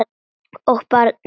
Og barnið.